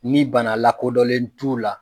Nin bana lakodɔnlen t'u la.